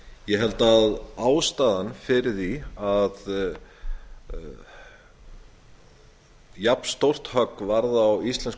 ég held að ástæðan fyrir því að jafnstórt högg varð á íslensku